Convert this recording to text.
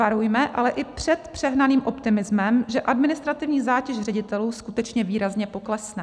Varujme ale i před přehnaným optimismem, že administrativní zátěž ředitelů skutečně výrazně poklesne.